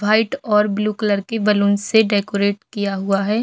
White और blue colour के balloon से डेकोरेट किया हुआ है।